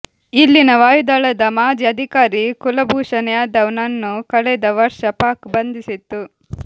ಇಲ್ಲಿನ ವಾಯುದಳದ ಮಾಜಿ ಅಧಿಕಾರಿ ಕುಲಭೂಷಣ್ ಯಾದವ್ ನನ್ನು ಕಳೆದ ವರ್ಷ ಪಾಕ್ ಬಂಧಿಸಿತ್ತು